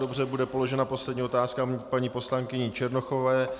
Dobře bude položena poslední otázka paní poslankyní Černochovou.